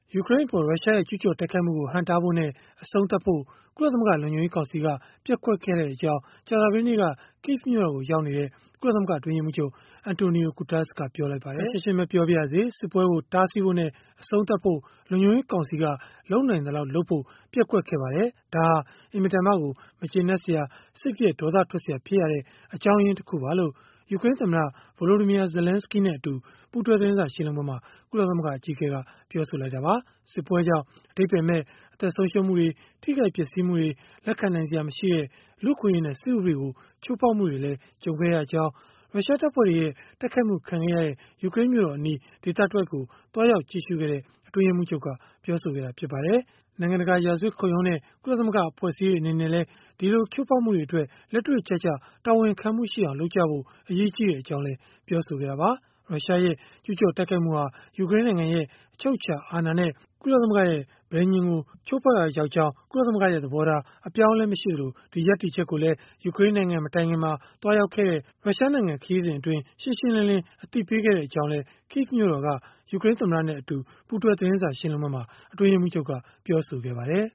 ယူကရိန်းကို ရုရှားရဲ့ ကျုးကျော် တိုက်ခိုက်မှုကို ဟန့်တားဖို့နဲ့ အဆုံးသတ်ဖို့ ကုလသမဂ္ဂ လုံခြုံရေးကောင်စီက ပျက်ကွက်ခဲ့ကြောင်း ကြာသပတေးနေ့က Kyiv မြို့တော်ကို ရောက်နေတဲ့ ကုလသမဂ္ဂ အတွင်းရေးမှူးချုပ် Antonio Guterres ကပြောလိုက်ပါတယ်။ “ခပ်ရှင်းရှင်းပဲ ပြောပါရစေ၊ စစ်ပွဲကို တားဆီးဖို့နဲ့ အဆုံးသတ်ဖို့ လုံခြုံရေးကောင်စီက လုပ်နိုင်သလောက်လုပ်ဖို့ ပျက်ကွက်ခဲ့ပါတယ်။ ဒါဟာ အင်မတန်မှ မကျေနပ်စရာ၊ စိတ်ပျက် ဒေါသထွက်စရာ ဖြစ်ရတဲ့ အကြောင်းရင်းတခုပါ။” လို့ ယူကရိန်းသမ္မတ Volodymyr Zelensky အတူ ပူးတွဲသတင်းစာရှင်းလင်းပွဲမှာ ကုလသမဂ္ဂ အကြီးအကဲက ပြောခဲ့တာပါ။ စစ်ပွဲကြောင့် အဓိပ္ပါယ်မဲ့ အသက်ဆုံးရှုံးမှုတွေ ထိခိုက်ပျက်စီးမှုတွေ၊ လက်ခံနိုင်စရာ မရှိတဲ့ လူ့အခွင့်အရေးနဲ့ စစ်ဥပဒေကို ချိုးဖောက်မှုတွေလည်း ကြုံခဲ့ရကြောင်း၊ ရုရှားတပ်ဖွဲ့တွေရဲ့ တိုက်ခိုက်မှု ခံခဲ့ရတဲ့ ယူကရိန်းမြို့တော်အနီး ဒေသတဝိုက်ကို သွားရောက်ကြည့်ရှုခဲ့တဲ့ အတွင်းရေးမှူးချုပ်က ပြောဆိုခဲ့ပါတယ်။ နိုင်ငံတကာ ရာဇဝတ်ခုံရုံးနဲ့ ကုလသမဂ္ဂ အဖွဲ့အစည်းတွေအနေနဲ့ လက်တွေ့ကျကျ တာဝန်ခံမှုရှိအောင် လုပ်ကြဖို့ အရေးကြီးကြောင်းလည်း ပြောဆိုခဲ့တာပါ။ ရုရှားရဲ့ ကျုးကျော်တိုက်ခိုက်မှုဟာ ယူကရိန်းနိုင်ငံရဲ့ အချုပ်အခြာအာဏာနဲ့ ကုလသမဂ္ဂရဲ့ ပဋိဉာဉ်ကို ချိုးဖောက်ရာရောက်ကြောင်း ကုလသမဂ္ဂရဲ့ သဘောထား အပြောင်းအလဲ မရှိကြောင်းနဲ့ ဒီရပ်တည်ချက်ကိုလည်း ယူကရိန်းနိုင်ငံမတိုင်ခင် သွားခဲ့တဲ့ ရုရှားခရီးစဉ်မှာ ရှင်းရှင်းလင်းလင်း အသိပေးခဲ့ကြောင်းလည်း Kyiv မြို့တော်က ယူကရိန်းသမ္မတနဲ့ ပူးတွဲ သတင်းစာရှင်းလင်းပွဲမှာ အတွင်းရေးမှူးချုပ်က ပြောဆိုခဲ့ပါတယ်